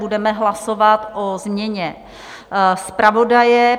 Budeme hlasovat o změně zpravodaje.